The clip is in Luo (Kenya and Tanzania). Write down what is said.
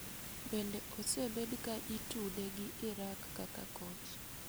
Bende osebed ka itude gi Iraq kaka koch.